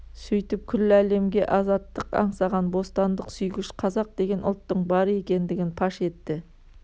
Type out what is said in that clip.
сөйтіп күллі әлемге азаттық аңсаған бостандық сүйгіш қазақ деген ұлттың бар екендігін паш етті